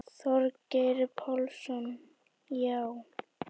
Þorgeir Pálsson: Já.